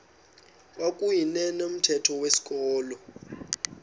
kwakuyne nomthetho wezikolo